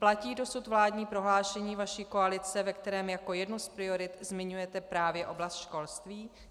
Platí dosud vládní prohlášení vaší koalice, ve kterém jako jednu z priorit zmiňujete právě oblast školství?